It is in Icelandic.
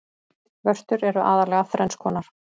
vörtur eru aðallega þrenns konar